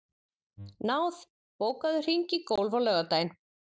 Náð, bókaðu hring í golf á laugardaginn.